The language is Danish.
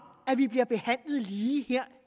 at vi bliver behandlet lige her